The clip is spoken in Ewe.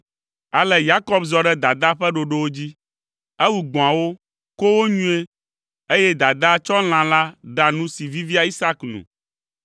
Ale Yakob zɔ ɖe dadaa ƒe ɖoɖowo dzi. Ewu gbɔ̃awo, ko wo nyuie, eye dadaa tsɔ lã la ɖa nu si vivia Isak nu.